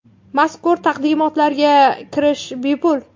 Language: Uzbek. Mazkur taqdimotlarga kirish bepul.